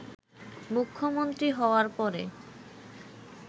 মুখ্যমন্ত্রী হওয়ার পরে